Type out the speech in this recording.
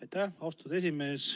Aitäh, austatud esimees!